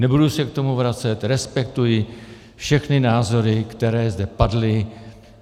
Nebudu se k tomu vracet, respektuji všechny názory, které zde padly.